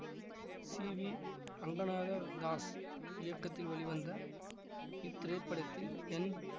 C V Ranganatha Das இயக்கத்தில் வெளிவந்த இத்திரைப்படத்தில் என்